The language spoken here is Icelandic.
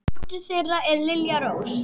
Dóttir þeirra er Lilja Rós.